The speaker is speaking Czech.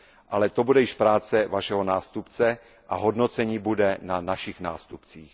Ale to bude již práce Vašeho nástupce a hodnocení bude na našich nástupcích.